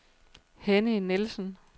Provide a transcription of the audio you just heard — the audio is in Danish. Henny Nielsen